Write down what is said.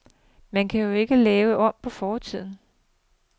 Man kan jo ikke lave om på fortiden.